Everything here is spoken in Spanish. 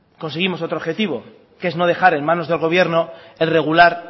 conseguimos otro objetivo que es no dejar en manos del gobierno el regular